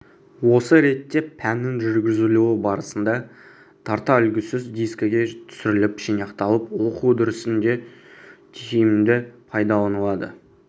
осы ретте пәннің жүргізілуі барысында тарта үлгісөз дискіге түсіріліп жинақталып оқу үдерісінде тиімді пайдаланылды